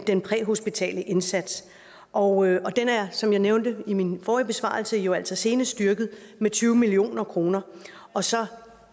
den præhospitale indsats og den er som jeg nævnte i min forrige besvarelse jo altså senest styrket med tyve million kroner og så er